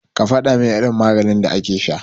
Ka faɗamin irin maganin da ake sha.